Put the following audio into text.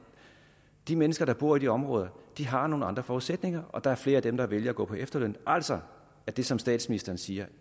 de mennesker der bor i de områder har nogle andre forudsætninger og der er flere af dem der vælger at gå på efterløn altså det som statsministeren siger